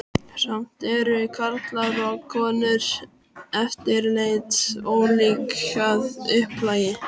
Samt eru karlar og konur yfirleitt ólík að upplagi.